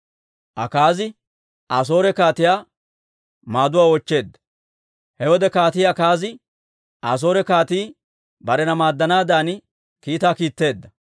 He wode Kaatii Akaazi Asoore kaatii barena maaddanaadan kiitaa kiitteedda.